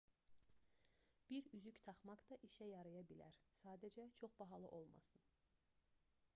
bir üzük taxmaq da işə yaraya bilər sadəcə çox bahalı olmasın